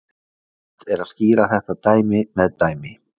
Best er að skýra þetta með dæmi.